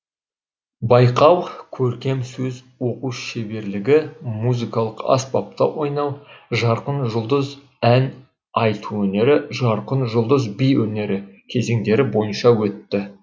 байқау көркем сөз оқу шеберлігі музыкалық аспапта ойнау жарқын жұлдыз ән айту өнері жарқын жұлдыз би өнері кезеңдері бойынша өтті